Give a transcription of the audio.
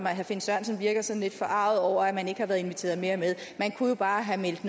at herre finn sørensen virker sådan lidt forarget over at man ikke har været inviteret mere med man kunne jo bare have meldt